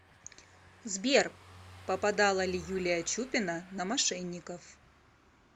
сбер попадала ли юлия чупина на мошенников